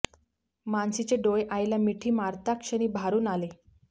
मानसीचे डोळे आईला मिठी मारता क्षणी भारून आले